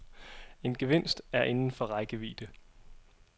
En gevinst er inden for rækkevidde.